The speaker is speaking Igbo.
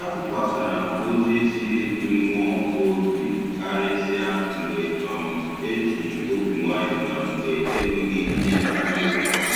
A tukwasara m ozi si n'mmụọ obi karịsịa mgbe um e ji obi nwayọ na mgbe enweghị ihe nzuzo um